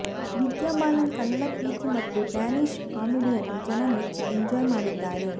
ವಿದ್ಯಾ ಬಾಲನ್ ಕನ್ನಡ ಪ್ರೀತಿ ಮತ್ತು ಡ್ಯಾನಿಷ್ ಕಾಮಿಡಿಯನ್ನು ಜನ ಮೆಚ್ಚಿ ಎಂಜಾಯ್ ಮಾಡಿದ್ದಾರೆ